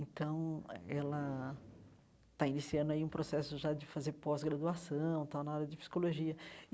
Então, ela está iniciando aí um processo já de fazer pós-graduação, tal, na área de psicologia.